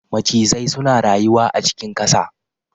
Macizai suna rayuwa a cikin ƙasa